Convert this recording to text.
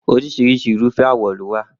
Oríṣiríṣi Irúfẹ́ àwọ̀ ló wà